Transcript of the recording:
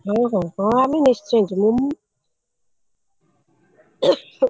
ହଁ ହଁ ହଁ ଆମେ ନିଶ୍ଚୟ ଯିମୁ।